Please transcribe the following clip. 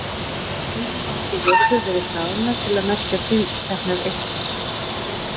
Stundum hafa þó vörður verið hlaðnar til að merkja tilteknar eyktir.